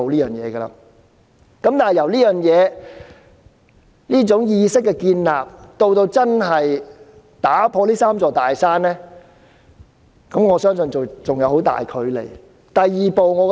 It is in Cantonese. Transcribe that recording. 然而，從建立這種意識到真正打破這"三座大山"，我相信仍有很大距離。